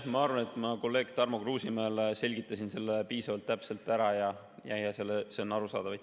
Ma arvan, et ma kolleeg Tarmo Kruusimäele selgitasin selle piisavalt täpselt ära ja see oli arusaadav.